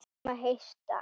Við biðjum að heilsa.